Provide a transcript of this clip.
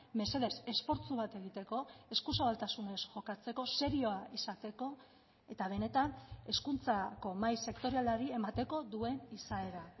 mesedez esfortzu bat egiteko eskuzabaltasunez jokatzeko serioa izateko eta benetan hezkuntzako mahai sektorialari emateko duen izaera